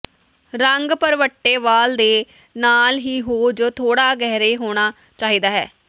ਰੰਗ ਭਰਵੱਟੇ ਵਾਲ ਦੇ ਨਾਲ ਹੀ ਹੋ ਜ ਥੋੜ੍ਹਾ ਗਹਿਰੇ ਹੋਣਾ ਚਾਹੀਦਾ ਹੈ